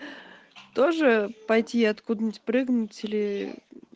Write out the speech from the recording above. тоже пойти откуда нибудь прыгнуть или